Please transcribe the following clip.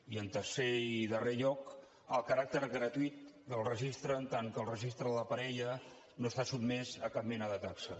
i en tercer i darrer lloc el caràcter gratuït del registre en tant que el registre de parella no està sotmès a cap mena de taxa